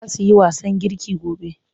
Za su yi wasan girki gobe.